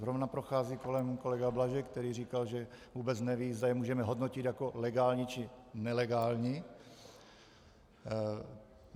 Zrovna prochází kolem kolega Blažek, který říkal, že vůbec neví, zda je můžeme hodnotit jako legální, či nelegální.